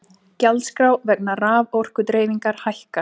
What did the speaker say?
Gjaldskrá vegna raforkudreifingar hækkar